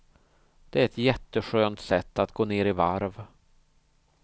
Det är ett jätteskönt sätt att gå ner i varv.